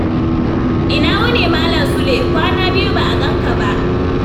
Ina wuni, Malam Sule! Kwana biyu ba a ganka ba.